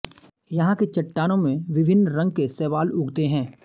यहाँ की चट्टानों में विभिन्न रंग के शैवाल उगते हैं